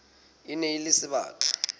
e ne e le sebaka